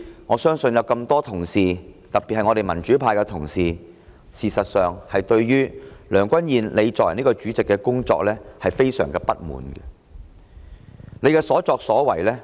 我相信眾多同事，特別是民主派的同事，對梁君彥作為主席感到非常不滿。